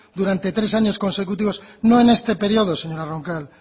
durante tres años consecutivos no en este periodo señora roncal